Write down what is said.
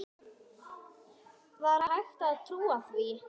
Var hægt að trúa því?